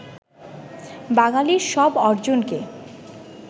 বাঙালির সব অর্জনকে